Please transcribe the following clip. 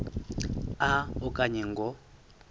a okanye ngo